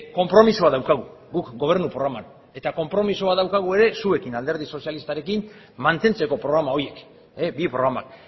konpromisoa daukagu guk gobernu programan eta konpromisoa daukagu ere zuekin alderdi sozialistarekin mantentzeko programa horiek bi programak